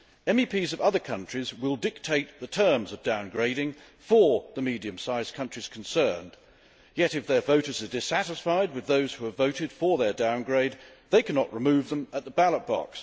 MEPs of other countries will dictate the terms of downgrading for the medium sized countries concerned, yet if their voters are dissatisfied with those who have voted for their downgrade, they cannot remove them at the ballot box.